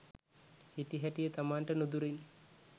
හිටිහැටියේ තමන්ට නුදුරින්